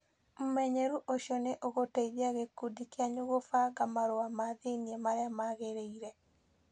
Ũmenyeru ũcio nĩ ũgũteithia gĩkundi kĩanyu kũbanga marũa ma thĩinĩ marĩa magĩrĩire.